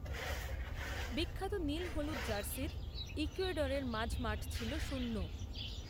বিখ্যাত নীল হলুদ জার্সির ইকুয়েডরের মাঝমাঠ ছিল শূন্য